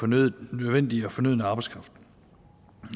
nødvendige arbejdskraft